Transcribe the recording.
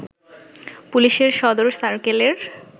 পুলিশের সদর সার্কেলের